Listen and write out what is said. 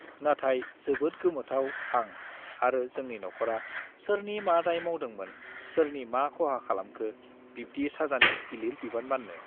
नाथाय जोबोद गोमोथाव आं आरो जोंनि नखरा सोरनि मा दाय मावदोंमोन सोरनि मा खहा खालामखो बिब्दि साजानि गिलिर बिबान बान्नॊ